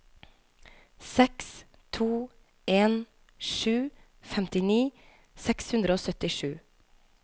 seks to en sju femtini seks hundre og syttisju